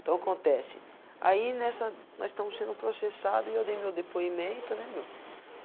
Então acontece, aí nessa, nós estamos sendo processado e eu dei meu depoimento, né meu?